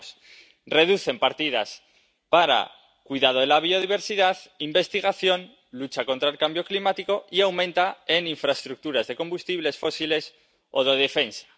Veamos reducen partidas para cuidado de la biodiversidad, investigación, lucha contra el cambio climático y las aumentan en infraestructuras de combustibles fósiles o de defensa.